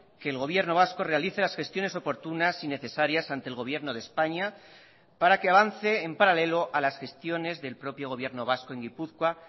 que el gobierno vasco realice las gestiones oportunas y necesarias ante el gobierno de españa para que avance en paralelo a las gestiones del propio gobierno vasco en gipuzkoa